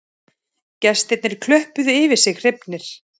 Gestirnir klöppuðu yfir sig hrifnir